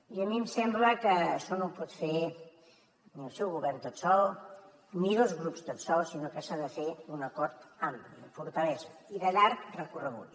i a mi em sembla que això no ho pot fer ni el seu govern tot sol ni dos grups tots sols sinó que s’ha de fer un acord ampli amb fortalesa i de llarg recorregut